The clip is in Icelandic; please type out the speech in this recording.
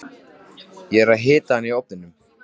Ég er að hita hana í ofninum.